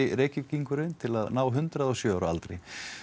Reykvíkingurinn til að ná hundrað og sjö ára aldri